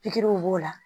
Pikiriw b'o la